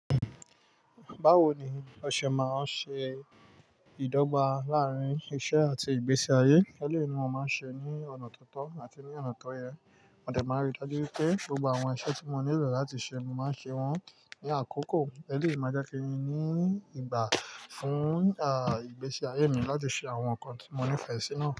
Báwo ni ọṣẹ máa ń ṣe ìdọ́gba láàárín iṣẹ́ àti ìgbésí ayé? Eleyii mo máa ń ṣe ní ọ̀nà tó tọ́ àti ní ọ̀nà tó yẹ. Mo dẹ̀ máa rí i dájú wi pé gbogbo àwọn iṣẹ́ tí mo nílò láti ṣe, mo máa ń ṣe wọ́n ní àkókò. Eleyii, máa je ki n ní ìgbà fún, ìgbésí ayé mi láti ṣe àwọn nǹkan tí mo nífẹ̀ẹ́ sí naa.